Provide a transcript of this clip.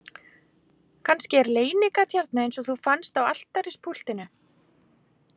Kannski er leynigat hérna eins og þú fannst á altarispúltinu